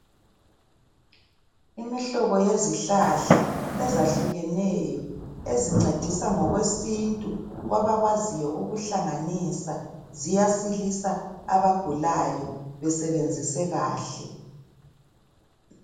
Imihlobo yezihlahla ezahlukeneyo ezincedisa ngokwesintu kwabakwaziyo ukuhlanganisa ziyasilisa abagulayo besebenzise kahle.